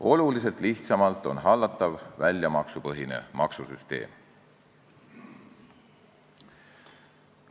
Oluliselt lihtsamalt hallatav on väljamaksupõhine maksusüsteem.